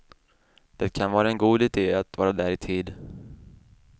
Det kan vara en god idé att vara där i tid.